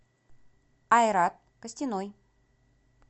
айрат костяной